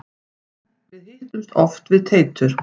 Við hittumst oft við Teitur.